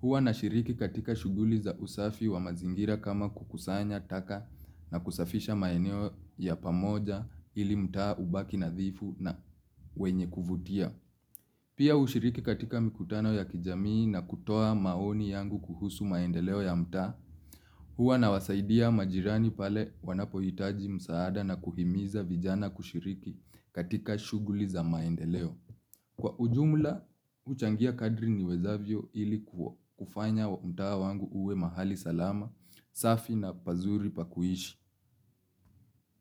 Huwa nashiriki katika shughuli za usafi wa mazingira kama kukusanya taka na kusafisha maeneo ya pamoja ili mtaa ubaki nadhifu na wenye kuvutia. Pia hushiriki katika mikutano ya kijamii na kutoa maoni yangu kuhusu maendeleo ya mtaa. Hua nawasaidia majirani pale wanapohitaji msaada na kuhimiza vijana kushiriki katika shughuli za maendeleo. Kwa ujumula, huchangia kadri niwezavyo ili kufanya mtaa wangu uwe mahali salama, safi na pazuri pa kuishi.